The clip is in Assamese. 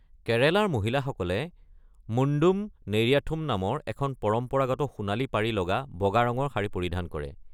কেৰেলাৰ মহিলাসকলে মুণ্ডুম নেৰিয়াথুম নামৰ এখন পৰম্পৰাগত সোণালী পাৰি লগা বগা ৰঙৰ শাড়ী পৰিধান কৰে।